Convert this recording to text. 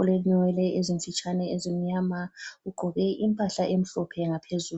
,ulenwele ezimfitshane ezimnyama ugqoke impahla emhlophe ngaphezulu